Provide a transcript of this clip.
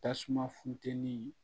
Tasuma funtɛni